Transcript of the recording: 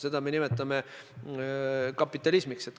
Seda me nimetame kapitalismiks.